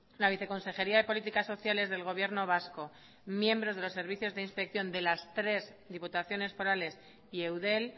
la viceconsejería de políticas sociales del gobierno vasco miembros de los servicios de inspección de las tres diputaciones forales y eudel